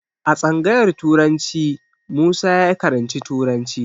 A tsangayar turanci Musa ya karanci turanci.